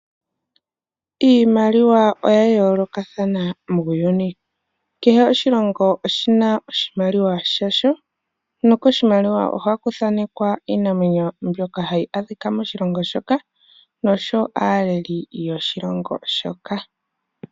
Iimaliwa oya yoolokathana muuyuni. Kehe oshilongo oshi na oshimaliwa shasho nokoshimaliwa ohaku thanekwa iinamwenyo mbyoka hayi adhika moshilongo shoka noshowo aaleli yoshilongo shoka.